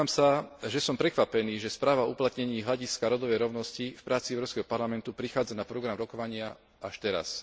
Priznám sa, že som prekvapený, že správa o uplatnení hľadiska rodovej rovnosti v práci Európskeho parlamentu prichádza na program rokovania až teraz.